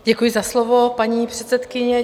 Děkuji za slovo, paní předsedkyně.